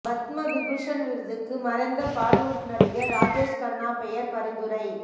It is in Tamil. பத்ம விபூஷன் விருதுக்கு மறைந்த பாலிவுட் நடிகர் ராஜேஷ் கன்னா பெயர் பரிந்துரை